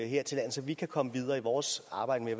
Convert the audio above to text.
her til lands så vi kan komme videre i vores arbejde